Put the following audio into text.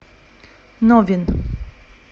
новин